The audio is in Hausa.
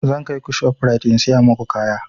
Zan kaiku shof rite in siya maku kaya